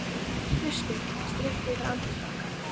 Kaldur gustur strýkst við andlit okkar.